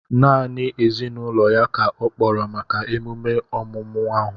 Naanị ezinụlọ ya ka ọ kpọrọ maka emume ọmụmụ ahu